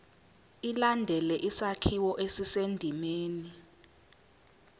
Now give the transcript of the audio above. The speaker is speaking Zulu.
ilandele isakhiwo esisendimeni